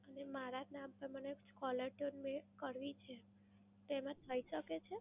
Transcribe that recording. અને મારા જ નામ પર મને caller tune મેં કરવી છે, તો એમાં થઈ શકે છે?